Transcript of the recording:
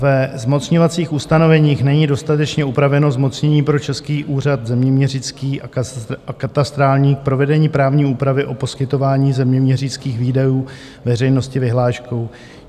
Ve zmocňovacích ustanoveních není dostatečně upraveno zmocnění pro Český úřad zeměměřický a katastrální k provedení právní úpravy o poskytování zeměměřických výdajů veřejnosti vyhláškou.